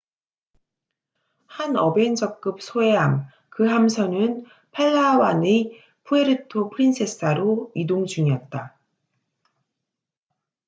한 어벤저급 소해함 그 함선은 팔라완의 푸에르토 프린세사로 이동 중이었다